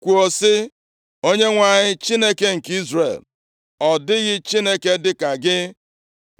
kwuo sị, “ Onyenwe anyị, Chineke nke Izrel, ọ dịghị Chineke dịka gị